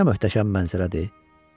Nə möhtəşəm mənzərədir!